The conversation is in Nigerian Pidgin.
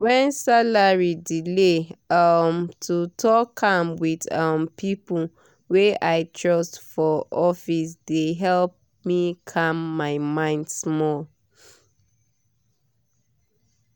when salary delay um to talk am with um people wey i trust for office dey help me calm my mind small.